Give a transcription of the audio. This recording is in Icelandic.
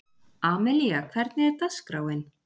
Amelía, hvernig er dagskráin?